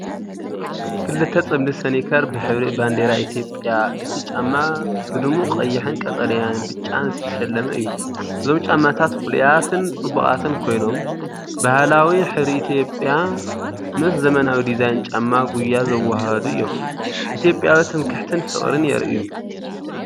ክልተ ጽምዲ ስኒከር ብሕብሪ ባንዴራ ኢትዮጵያ። እቲ ጫማ ብድሙቕ ቀይሕን ቀጠልያን ብጫን ዝተሰለመ እዩ። እዞም ጫማታት ፍሉያትን ጽቡቓትን ኮይኖም፡ ባህላዊ ሕብሪ ኢትዮጵያ ምስ ዘመናዊ ዲዛይን ጫማ ጉያ ዘወሃህዱ እዮም። ኢትዮጵያዊ ትምክሕትን ፍቕርን የርእዩ።